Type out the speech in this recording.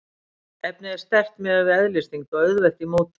Efnið er sterkt miðað við eðlisþyngd og auðvelt í mótun.